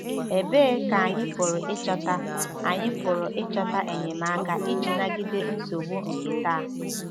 Ebee Ka Anyị Pụrụ Ịchọta Anyị Pụrụ Ịchọta Enyemaka Iji Nagide Nsogbu nke Taa?